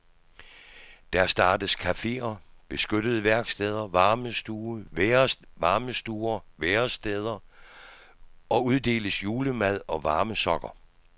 Der startes caféer, beskyttede værksteder, varmestuer, væresteder og uddeles julemad og varme sokker.